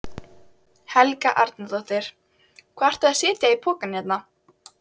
Helga Arnardóttir: Hvað ert þú að setja í poka hérna?